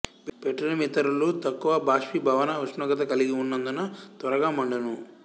petroleum ఇథరులు తక్కువ బాష్పీ భవన ఉష్ణోగ్రత కల్గి ఉన్నందున త్వరగా మండును